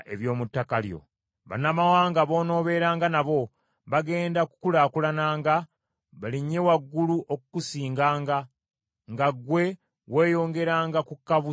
Bannamawanga b’onoobeeranga nabo bagenda kukulaakulananga balinnye waggulu okukusinganga, nga ggwe weeyongeranga kukka bussi wansi.